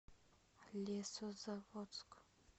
лесозаводск